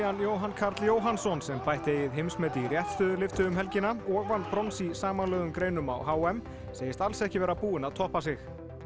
Jóhann Karl Jóhannsson sem bætti eigið heimsmet í réttstöðulyftu um helgina og vann brons í samanlögðum greinum á h m segist alls ekki vera búinn að toppa sig